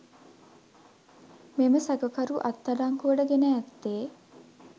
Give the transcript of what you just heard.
මෙම සැකකරු අත්අඩංගුවට ගෙන ඇත්තේ